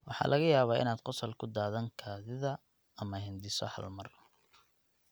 Waxa laga yaabaa inaad qosol ku daadan kaadida ama hindhiso hal mar.